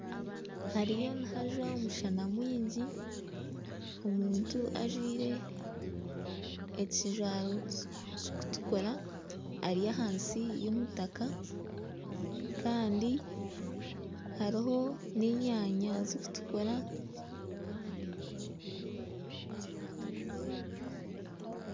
Hariyo nihajwa omushana mwingi omuntu ajwaire ekijwaro kirikutukura ari ahansi y'omutaaka kandi hariho n'enyanya zikutukura.